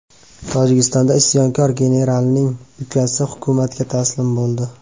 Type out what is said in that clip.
Tojikistonda isyonkor generalning ukasi hukumatga taslim bo‘ldi.